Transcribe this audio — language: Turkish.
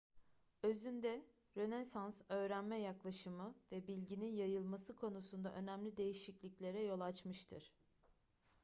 özünde rönesans öğrenme yaklaşımı ve bilginin yayılması konusunda önemli değişikliklere yol açmıştır